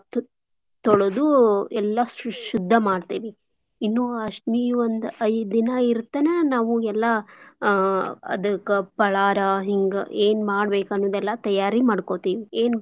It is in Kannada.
ತು~ ತೋಳ್ದೂ ಎಲ್ಲಾ ಶು~ ಶುದ್ದಾ ಮಾಡ್ತೇವಿ. ಇನ್ನೂ ಅಷ್ಟಮಿ ಒಂದ್ ಐದ್ ದಿನಾ ಇರ್ತನ ನಾವೂ ಎಲ್ಲಾ ಅ~ ಅದ್ಕ ಪಳಾರಾ ಹಿಂಗ ಏನ್ ಮಾಡ್ಬೇಕ್ ಅನ್ನೋದೇಲ್ಲಾ ತಯಾರಿ ಮಾಡ್ಕೋಂತೀವಿ.